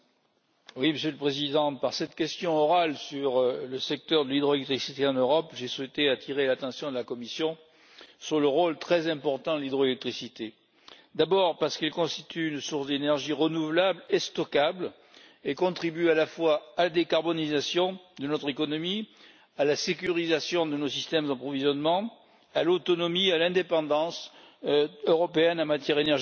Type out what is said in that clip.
Monsieur le Président, par cette question orale sur le secteur de l'hydroélectricité en Europe, j'ai souhaité attirer l'attention de la Commission sur le rôle très important de l'hydroélectricité d'abord, parce qu'elle constitue une source d'énergie renouvelable et stockable et contribue à la fois à la décarbonisation de notre économie, à la sécurisation de nos systèmes d'approvisionnement ainsi qu'à l'autonomie et à l'indépendance européennes en matière énergétique